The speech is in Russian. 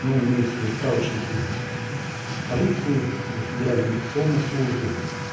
ну имеется в виду справочнике в полиции федеральной миграционной службы